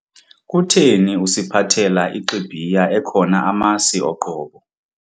Kutheni usiphathela ixibhiya ekhona amasi oqobo?